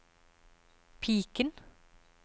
piken